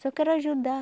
Só quero ajudar.